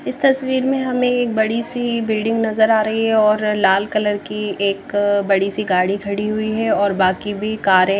इस तस्वीर में हमें बड़ी-सी बिल्डिंग नजर आ रही है और लाल कलर की एक बड़ी-सी गाड़ी खड़ी हुई है और बाकी भी कारें --